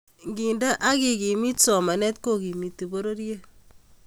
ngendee ak kekimit somanet ko kimiti pororiet